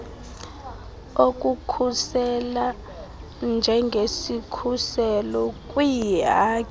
okukhusela njengesikhuselo kwiihaki